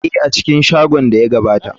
Ee, a cikin shagon da ya gabata.